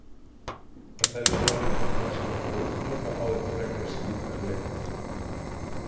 Þetta er vissulega nokkuð sem nauðsynlegt er að útiloka áður en frekari skýringa er leitað.